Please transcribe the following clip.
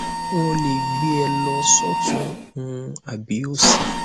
n ò lè gbé e lọ sọtún ún àbí sósì